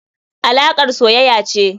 alakar soyaya ce.